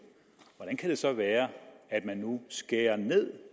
hvordan kan det så være at man nu skærer ned